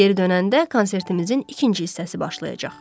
Geri dönəndə konsertimizin ikinci hissəsi başlayacaq.